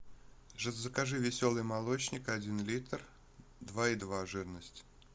закажи веселый молочник один литр два и два жирность